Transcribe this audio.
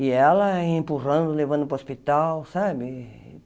E ela empurrando, levando para o hospital, sabe?